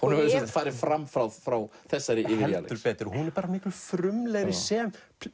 farið fram frá frá þessari yfir í Alex heldur betur hún er miklu frumlegri sem